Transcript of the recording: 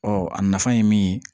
Ɔ a nafa ye min ye